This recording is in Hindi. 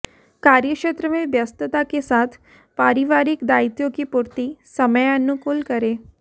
कार्यक्षेत्र में व्यस्तता के साथ पारिवारिक दायित्वों की पूर्ति समयानुकूल करें